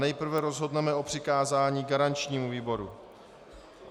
Nejprve rozhodneme o přikázání garančnímu výboru.